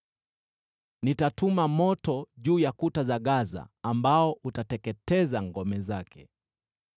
nitatuma moto juu ya kuta za Gaza ambao utateketeza ngome zake.